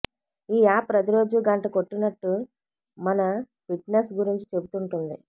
ఈ యాప్ ప్రతిరోజూ గంట కొట్టినట్టు మన ఫిట్నెస్ గురించి చెబుతుంటుంది